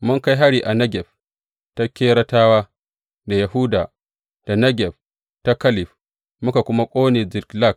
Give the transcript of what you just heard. Mun kai hari a Negeb ta Keretawa ta Yahuda, da Negeb ta Kaleb, muka kuma ƙone Ziklag.